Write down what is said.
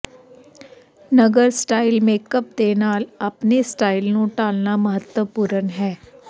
ਨਗਨ style makeup ਦੇ ਨਾਲ ਆਪਣੇ ਸਟਾਈਲ ਨੂੰ ਢਾਲਣਾ ਮਹੱਤਵਪੂਰਨ ਹੈ